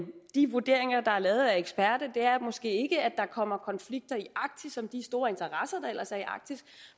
vurderinger der er lavet af eksperter er måske ikke at der kommer konflikter i arktis om de store interesser der ellers er i arktis